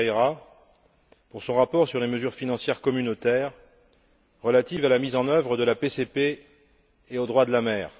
Ferreira pour son rapport sur les mesures financières communautaires relatives à la mise en œuvre de la PCP et au droit de la mer.